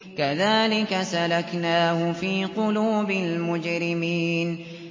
كَذَٰلِكَ سَلَكْنَاهُ فِي قُلُوبِ الْمُجْرِمِينَ